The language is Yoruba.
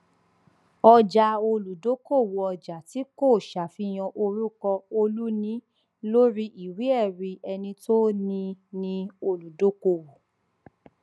ọjà olùdókòwò ọjà tí kò ṣàfihàn orúkọ olùní lórí ìwéẹrí ẹni tó ní í ni olùdókòwò